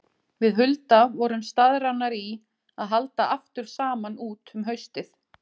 Við Hulda vorum staðráðnar í að halda aftur saman út um haustið.